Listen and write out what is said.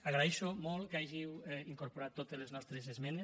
agraeixo molt que hàgiu incorporat totes les nostres esmenes